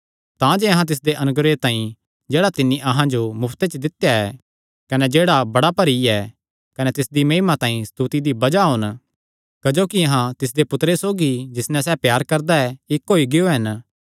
तांजे अहां तिसदे अनुग्रह तांई जेह्ड़ा तिन्नी अहां जो मुफ्ते च देई दित्या ऐ कने जेह्ड़ा बड़ा भरी ऐ कने तिसदी महिमा तांई स्तुति दी बज़ाह होन क्जोकि अहां तिसदे पुत्तरे सौगी जिस नैं सैह़ प्यार करदा इक्क होई गियो हन